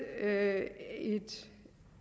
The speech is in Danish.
at jeg